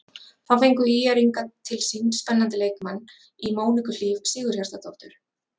Þá fengu ÍR-ingar til sín spennandi leikmann í Móniku Hlíf Sigurhjartardóttur.